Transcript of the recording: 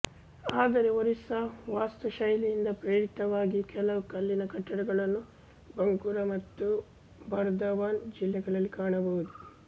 ಆದರೆ ಒರಿಸ್ಸ ವಾಸ್ತುಶೈಲಿಯಿಂದ ಪ್ರೇರಿತವಾದ ಕೆಲವು ಕಲ್ಲಿನ ಕಟ್ಟಡಗಳನ್ನು ಬಂಕುರಾ ಮತ್ತು ಬರ್ದವಾನ್ ಜಿಲ್ಲೆಗಳಲ್ಲಿ ಕಾಣಬಹುದು